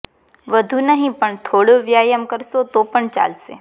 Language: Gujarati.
વધુ નહી પણ થોડો વ્યાયામ કરશો તો પણ ચાલશે